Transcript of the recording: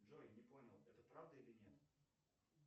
джой не понял это правда или нет